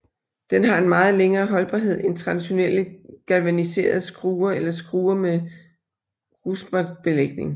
Den har en meget længere holdbarhed end traditionelle galvaniserede skruer eller skruer med Ruspert belægning